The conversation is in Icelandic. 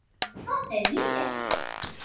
Það hef ég gert.